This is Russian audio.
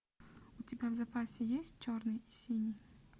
у тебя в запасе есть черный и синий